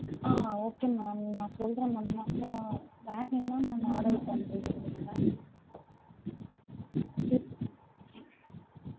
ஆஹ் okay ma'am நான் சொல்றேன் ma'am நாங்க வேற என்ன ma'am order பண்றீங்க நீங்க?